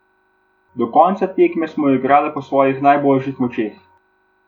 Do konca tekme smo igrale po svojih najboljših močeh.